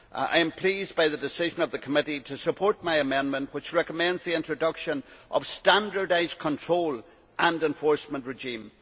I am pleased by the decision of the committee to support my amendment, which recommends the introduction of a standardised control and enforcement regime.